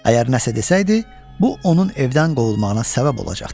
Əgər nəsə desəydi, bu onun evdən qovulmağına səbəb olacaqdı.